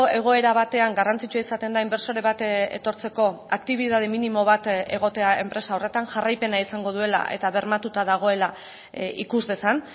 egoera batean garrantzitsua izaten da inbertsore bat etortzeko aktibitate minimo bat egotea enpresa horretan jarraipena izango duela eta bermatuta dagoela ikus dezan